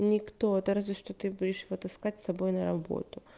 никто это разве что ты будешь вот искать с собой на работу